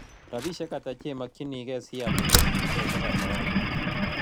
Rabisyek ata che makykinigei sial sheasiekap safaricom